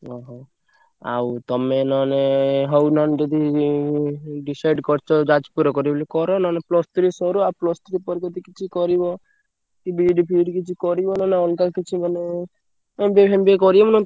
ଓହୋ! ଆଉ ତମେ ନହେଲେ ହଉ ନହେଲେ ଯଦି ଉଁ decide କରିଛ ଯାଜପୁରରେ କରିବ ବୋଲି କର ନହେଲେ plus three ସରୁ ଆଉ plus three ପରେ ଯଦି କିଛି କରିବ କି B. ED ଫିଇଡି କିଛି କରିବ ନହେଲେ ଅଲଗା କିଛି ମାନେ MBA ଫେମବିଏ କରିବ ନହେଲେ।